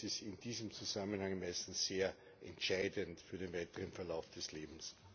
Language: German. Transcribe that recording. Das ist in diesem Zusammenhang meistens sehr entscheidend für den weiteren Verlauf des Lebens.